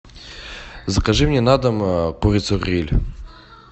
закажи мне на дом курицу гриль